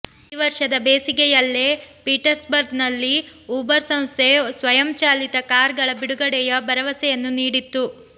ಈ ವರ್ಷದ ಬೇಸಿಗೆಯಲ್ಲೇ ಪೀಟ್ಸ್ಬರ್ಗ್ ನಲ್ಲಿ ಊಬರ್ ಸಂಸ್ಥೆ ಸ್ವಯಂ ಚಾಲಿತ ಕಾರ್ ಗಳ ಬಿಡುಗಡೆಯ ಭರವಸೆಯನ್ನು ನೀಡಿತ್ತು